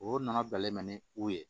O nana bilalen mɛ ni o ye